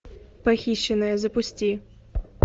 похищенная запусти